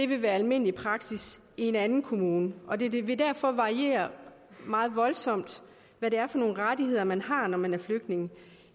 vil være almindelig praksis i en anden kommune og det vil derfor variere meget voldsomt hvad det er for nogle rettigheder man har når man er flygtning